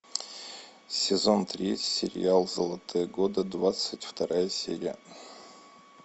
сезон три сериал золотые годы двадцать вторая серия